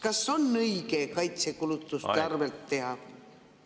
Kas on õige seda kaitsekulutuste arvelt teha?